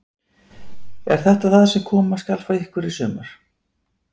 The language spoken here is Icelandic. Er þetta það sem koma skal frá ykkur í sumar?